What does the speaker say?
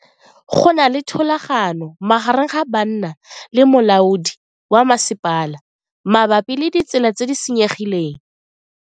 Go na le thulano magareng ga banna le molaodi wa masepala mabapi le ditsela tse di senyegileng.